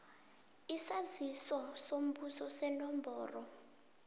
isaziso sombuso senomboro